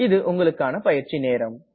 இது உங்கள் பயிற்சிக்கான நேரம்